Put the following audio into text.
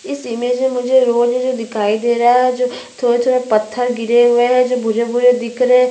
इस इमेज में मुझे रोड जैसे दिखाई दे रहा है जो थोड़े-थोड़े पत्थर गिरे हुए है जो भूरे-भूरे दिख रहे है।